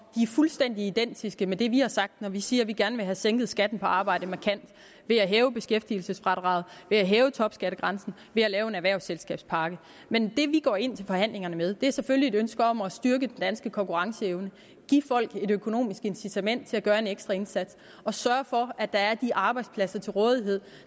er fuldstændig identisk med det vi har sagt når vi siger at vi gerne vil have sænket skatten på arbejde markant ved at hæve beskæftigelsesfradraget ved at hæve topskattegrænsen og ved at lave en erhvervsselskabspakke men det vi går ind til forhandlingerne med er selvfølgelig et ønske om at styrke den danske konkurrenceevne give folk et økonomisk incitament til at gøre en ekstra indsats og sørge for at der er de arbejdspladser til rådighed